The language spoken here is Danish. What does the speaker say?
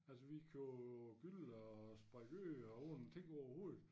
Altså vi kunne gylle og sprede ud uden at tænke overhovedet